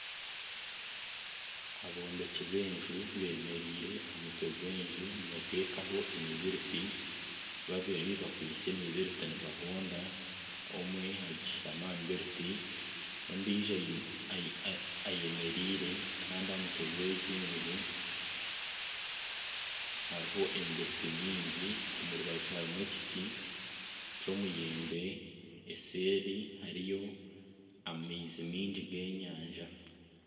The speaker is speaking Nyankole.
Abombeki b'enju bemereire aha mutwe gw'enju nibataho emibiriti babiri bakwaitse emibiriti nibahonda omwe ashutami aha mibiriti ondiijo ayemereire Kandi aha mutwe gw'egi enju hariho emibiriti mingi omu rubaju harimu ekibo ky'omuyembe eseeri hariyo amaizi maingi g'enyanja.